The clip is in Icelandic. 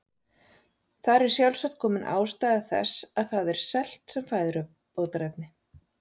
Þar er sjálfsagt komin ástæða þess að það er selt sem fæðubótarefni.